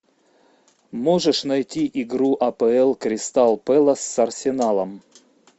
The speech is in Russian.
можешь найти игру апл кристал пэлас с арсеналом